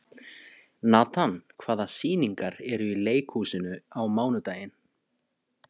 Natan, hvaða sýningar eru í leikhúsinu á mánudaginn?